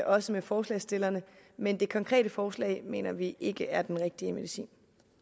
også med forslagsstillerne men det konkrete forslag mener vi ikke er den rigtige medicin